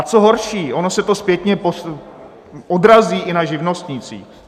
A co horší - ono se to zpětně odrazí i na živnostnících.